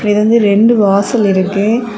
இது வந்து ரெண்டு வாசல் இருக்கு.